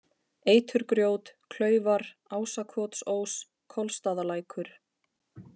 Eiturgrjót, Klaufar, Ásakotsós, Kolstaðalækur